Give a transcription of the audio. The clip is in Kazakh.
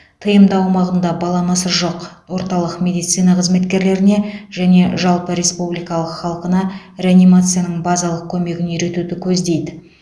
тмд аумағында баламасы жоқ орталық медицина қызметкерлеріне және жалпы республикалық халқына реанимацияның базалық көмегін үйретуді көздейді